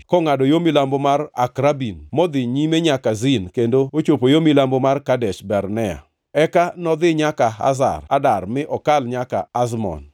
kongʼado yo milambo mar Akrabim, modhi nyime nyaka Zin kendo ochopo yo milambo mar Kadesh Barnea. Eka nodhi nyaka Hazar Adar mi okal nyaka Azmon,